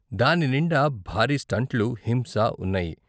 దాని నిండా భారీ స్టంట్లు, హింస ఉన్నాయి.